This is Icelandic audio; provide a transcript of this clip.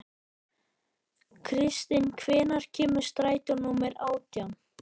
Kristin, hvenær kemur strætó númer átján?